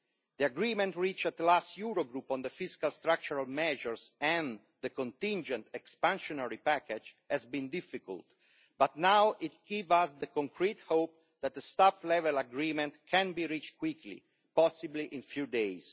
The agreement reached at the last Eurogroup on the fiscal structural measures and the contingent expansionary package has been difficult, but now it gives us the concrete hope that this top-level agreement can be reached quickly, possibly in a few days.